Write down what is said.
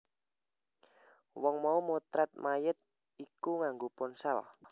Wong mau motret mayit iku nganggo ponsel